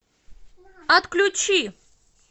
отключи